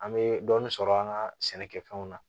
An bɛ dɔɔnin sɔrɔ an ka sɛnɛkɛfɛnw na